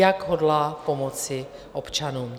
Jak hodlá pomoci občanům?